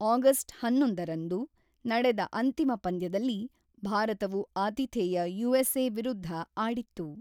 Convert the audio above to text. August ಹನ್ನೊಂದರಂದು ನಡೆದ ಅಂತಿಮ ಪಂದ್ಯದಲ್ಲಿ ಭಾರತವು ಆತಿಥೇಯ ಯು.ಎಸ್‌.ಎ. ವಿರುದ್ಧ ಆಡಿತ್ತು.